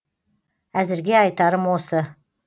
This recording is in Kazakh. әзірге айтарым осы